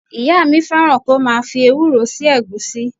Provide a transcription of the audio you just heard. Ìyá mi fẹ́ràn kí ó máa fi ewúro sí ẹ̀gúsí.